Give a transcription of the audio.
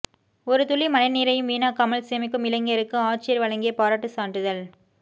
ஒரு துளி மழை நீரையும் வீணாக்காமல் சேமிக்கும் இளைஞருக்கு ஆட்சியர் வழங்கிய பாராட்டுச் சான்றிதழ்